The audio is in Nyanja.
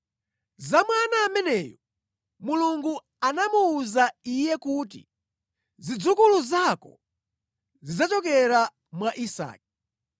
Za mwana ameneyu Mulungu anamuwuza iye kuti, “Zidzukulu zako zidzachokera mwa Isake.”